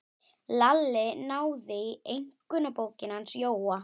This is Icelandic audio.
Lalli náði í einkunnabókina hans Jóa.